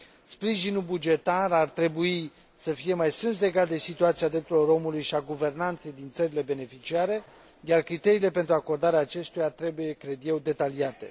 Sprijinul bugetar ar trebui să fie mai strâns legat de situația drepturilor omului și a guvernanței din țările beneficiare, iar criteriile pentru acordarea acestuia trebuie, cred eu, detaliate.